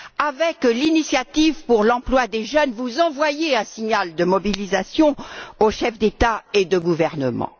Avec l'initiative pour l'emploi des jeunes, vous envoyez un signal de mobilisation aux chefs d'État et de gouvernement.